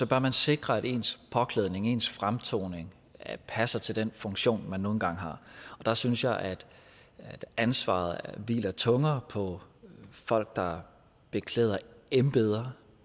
bør sikre at ens påklædning ens fremtoning passer til den funktion man nu engang har der synes jeg at ansvaret hviler tungere på folk der beklæder embeder